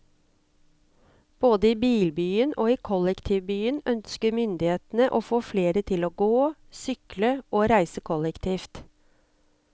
Både i bilbyen og i kollektivbyen ønsker myndighetene å få flere til å gå, sykle og reise kollektivt.